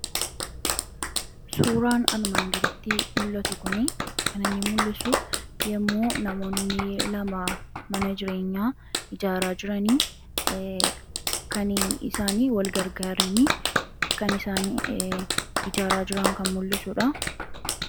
Suuraan armaan gaditti mul'atu kun kan inni mul'isu yommuu namoonni lama mana jireenyaa isaanii wal gargaaranii ijaaraa jiran kan mul'isuudha